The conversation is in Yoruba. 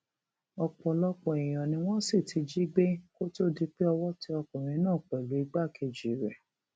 ọpọlọpọ èèyàn ni wọn sì ti jí gbé kó tóó di pé owó tẹ ọkùnrin náà pẹlú igbákejì rẹ